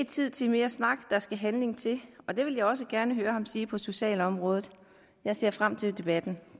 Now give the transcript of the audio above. tid til mere snak der skal handling til og det vil jeg også gerne høre ham sige på socialområdet jeg ser frem til debatten